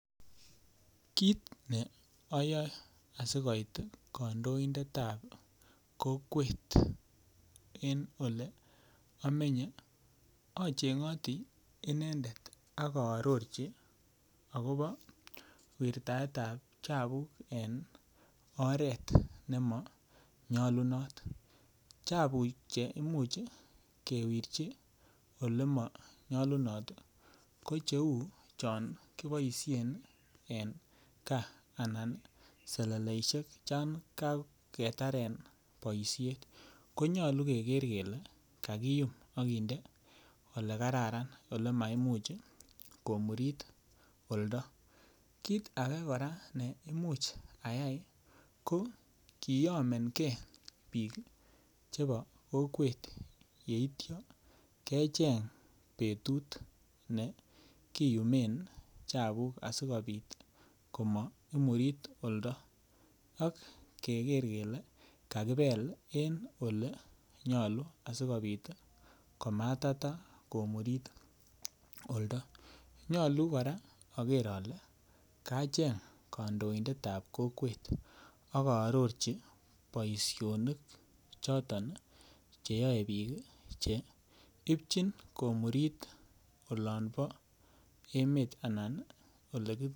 Kit ne oyoe asi koit ii kondoindetab kokwet en ole imenye ochengoti inendet ak oororji akobo wirtaetab chabuk en oret nemo nyolunot. Chabuk che imuch kewirchi ole monyolunot ii ko che uu chon kiboishen en gaa anan seleleishek chan kagetaren boishet ko nyoluu keger kelee kakiyum okinde ole kararan ole maimuch komurit oldo. Kit age koraa be imuch ayay ko koyomengee biik chebo kokwet yeityo kecheng betut ne kiyumen chabuk asikopit komo imurit oldo ak keger kelee kakibel en ole nyoluu asikopit komatata komurit oldo nyoluu koraa oger ole kacheng kondoindet nebo kokwet ak oororji boisionik choton che yoe biik ii che ibichin komurit olombo emet anan ole